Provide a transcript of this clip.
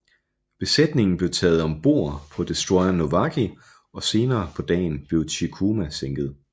Besætningen blev taget om bord på destroyeren Nowaki og senere på dagen blev Chikuma sænket